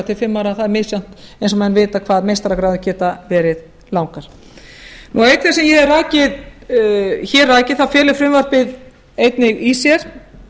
til fimm ára það er misjafnt eins og menn vita hvað meistaragráðu geta verið langar auk þess sem ég hef hér rakið þá felur frumvarpið einnig í sér